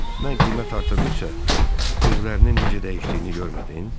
Mən qiymət artırdıqca, üzlərinin necə dəyişdiyini görmədin?